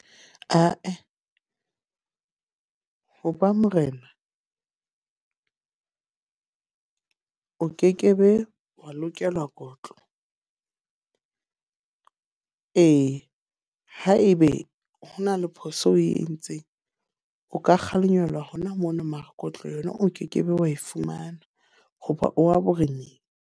Ah-eh, ho ba Morena o kekebe wa lokelwa kotlo. ee, haebe ho na le phoso eo oe entseng. O ka kgalemelwa hona mono, mara kotlo yona o kekebe wa e fumana hoba o wa boreneng.